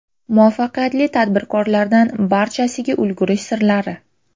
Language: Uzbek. Muvaffaqiyatli tadbirkorlardan barchasiga ulgurish sirlari.